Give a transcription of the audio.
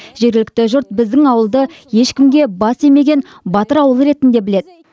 жергілікті жұрт біздің ауылды ешкімге бас имеген батыр ауыл ретінде біледі